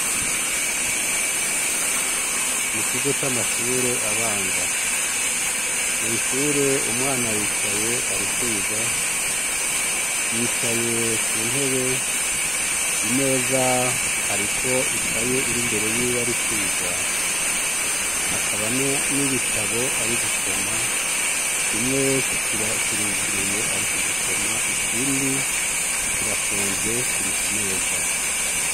Mu kigo c'amashure abanza, mw'ishure umwana aricaye arikwiga, yicaye kuntebe, imeza hariko ikaye iri imbere yiwe arikwiga. Hakaba n'ibitabo ari gusoma, kimwe kiruguruye ari kubisoma, ikindi kirapfunze kiri ku meza.